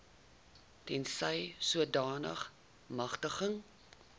tensy sodanige magtiging